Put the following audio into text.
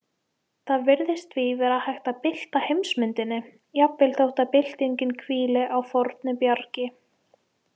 Það virðist því vera hægt að bylta heimsmyndinni, jafnvel þótt byltingin hvíli á fornu bjargi.